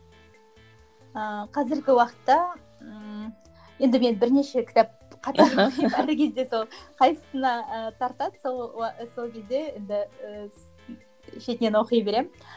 ыыы қазіргі уақытта ммм енді мен бірнеше кітап қатар оқимын қайсысына ы тартады сол сол кезде енді ыыы шетінен оқи беремін